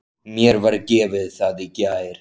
Mér var gefið það í gær.